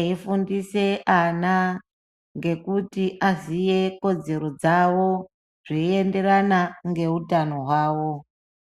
eifundisa ana ngekuti aziye kodzero dzawo zvienderana ngeutano hwawo.